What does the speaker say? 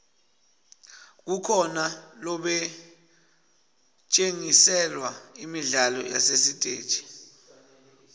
kukhona lobetjgntiselwa imidlalo yasesiteji